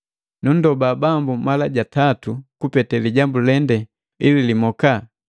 Nundoba Bambu mala ja tatu kupete lijambu lende ili limoka.